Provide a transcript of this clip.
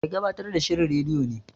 Mai gabatar da shirin rediyo ne.